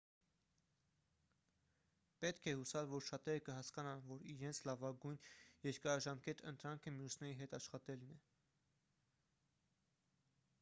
պետք է հուսալ որ շատերը կհասկանան որ իրենց լավագույն երկարաժամկետ ընտրանքը մյուսների հետ աշխատելն է